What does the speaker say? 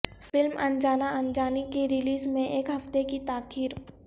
film Anjaana Anjaani کی release میں ایک ہفتے کی تاخیر